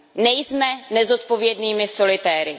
Nejsme nezodpovědnými solitéry.